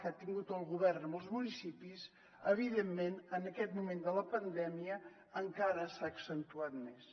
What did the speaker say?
que ha tingut el govern amb els municipis evidentment en aquest moment de la pandèmia encara s’ha accentuat més